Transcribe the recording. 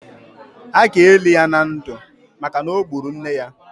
A ga-eli ya na ndụ maka na o gburu nne ya